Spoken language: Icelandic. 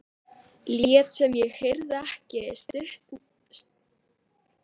Lét sem ég heyrði ekki stunurnar úr stofunni.